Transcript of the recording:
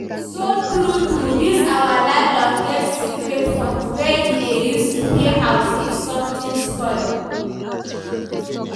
so true true this our landlord get secret funds wey he dey use repair house if something spoil